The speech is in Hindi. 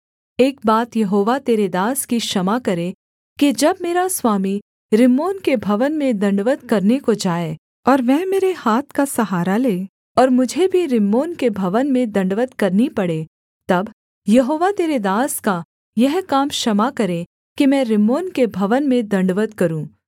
एक बात यहोवा तेरे दास की क्षमा करे कि जब मेरा स्वामी रिम्मोन के भवन में दण्डवत् करने को जाए और वह मेरे हाथ का सहारा ले और मुझे भी रिम्मोन के भवन में दण्डवत् करनी पड़े तब यहोवा तेरे दास का यह काम क्षमा करे कि मैं रिम्मोन के भवन में दण्डवत् करूँ